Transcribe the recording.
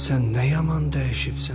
Sən nə yaman dəyişibsən.